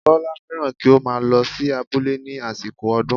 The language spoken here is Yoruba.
Bọ́lá fẹ́ràn kí ó máa lọ sí abúlé ní àsìkò ọdún